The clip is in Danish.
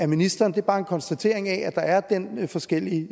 ministeren det er bare en konstatering af at der er den forskellige